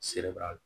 Selek'a